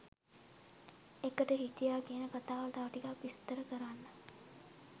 එකට හිටියා කියන කතාව තව ටිකක් විස්තර කරන්න?